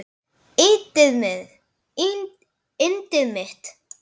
Yndið mitt!